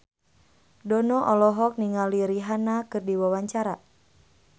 Dono olohok ningali Rihanna keur diwawancara